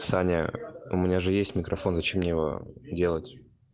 саня у меня же есть микрофон зачем мне его делать